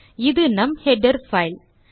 இது நம் header file